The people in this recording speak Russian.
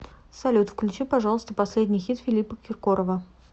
салют включи пожалуйста последний хит филиппа киркорова